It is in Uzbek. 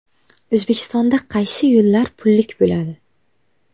O‘zbekistonda qaysi yo‘llar pullik bo‘ladi?.